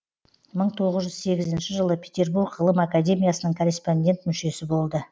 мың тоғыз жүз сегізінші жылы петербург ғылым академиясының корреспондент мүшесі болды